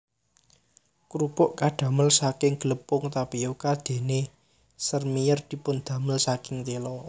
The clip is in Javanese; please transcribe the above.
Krupuk kadamel saking glepung tapioka dene sèrmièr dipundamel saking tela